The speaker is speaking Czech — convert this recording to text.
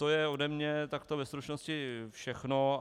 To je ode mě takto ve stručnosti všechno.